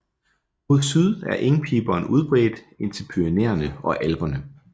Mod syd er engpiberen udbredt indtil Pyrenæerne og Alperne